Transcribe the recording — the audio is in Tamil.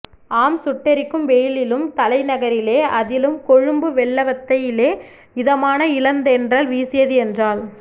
ஆம் சுட்டெரிக்கும் வெயிலிலும் தலைநகரிலே அதிலும் கொழும்பு வெள்ளவத்தையிலே இதமான இளந்தென்றல் வீசியது என்றால்